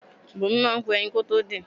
Bùnmi máà ń po ẹyin kótó din.